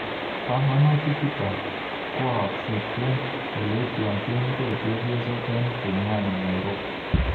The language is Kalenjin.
Panganutik chutok kwookse eng oleityochegei chepyosok eng Pumwani Nairobi